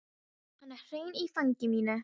Hann er hreinn í fangi mínu.